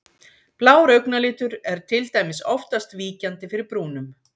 Blár augnalitur er til dæmis oftast víkjandi fyrir brúnum.